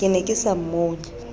ke ne ke sa mmone